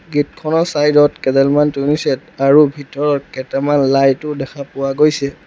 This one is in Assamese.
গেট খনৰ চাইড ত কেইডালমান টুনি ছেট আৰু ভিতৰত কেইটামান লাইট ও দেখা পোৱা গৈছে।